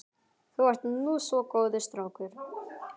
Þú ert nú svo góður strákur.